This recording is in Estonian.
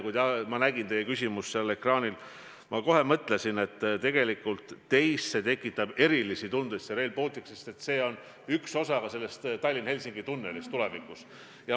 Kui ma nägin teie küsimust seal ekraanil, siis mõtlesin kohe, et teis tekitab Rail Baltic erilisi tundeid, sest see on üks osa Tallinna–Helsingi tunnelist tulevikus.